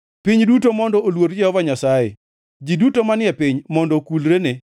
Piny duto mondo oluor Jehova Nyasaye; ji duto manie e piny mondo okulrene.